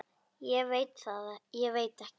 Ég veit ekki?